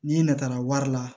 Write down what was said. Ni natala wari la